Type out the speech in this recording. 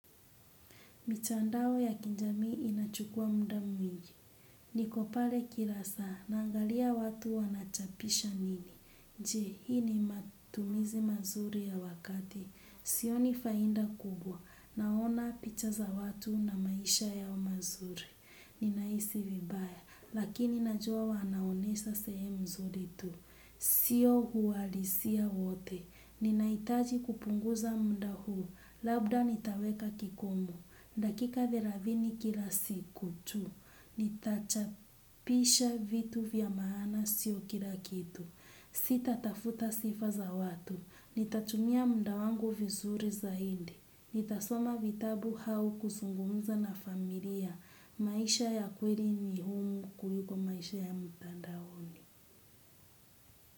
Mitandao ya kijamii inachukua muda mwingi. Nikopale kila saa, naangalia watu wanachapisha nini. Je, hii ni matumizi mazuri ya wakati. Sioni faida kubwa. Naona picha za watu na maisha yao mazuri. Ninahisi vibaya, lakini najua wanaonesha sehemu nzuri tu. Siyo uwalisia wote. Ninahitaji kupunguza muda huu. Labda nitaweka kikomo. Dakika thelathini kila siku tu, nitachapisha vitu vya maana sio kila kitu, sita tafuta sifa za watu, nitatumia muda wangu vizuri zaidi nitasoma vitabu hau kuzungumza na familia, maisha ya kweli ni huru kuliko maisha ya mtandaoni.